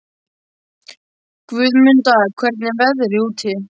Guðmunda, hvernig er veðrið úti?